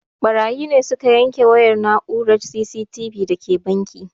Ɓarayi ne suka yanke wayar na'urar C.C.T.V da ke banki